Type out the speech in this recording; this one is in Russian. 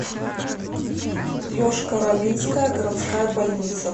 йошкар олинская городская больница